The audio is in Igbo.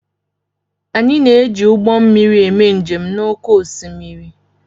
Anyị na-eji ụgbọ mmiri eme njem n'oké osimiri